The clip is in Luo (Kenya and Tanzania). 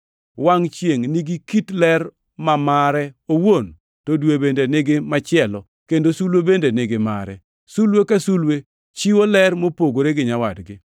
Wangʼ chiengʼ nigi kit ler ma mare owuon, to dwe bende nigi machielo, kendo sulwe bende nigi mare. Sulwe ka sulwe chiwo ler mopogore gi nyawadgi.